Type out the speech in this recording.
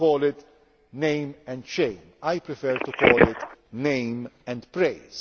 in all Member States. Some call it name and shame' I prefer to call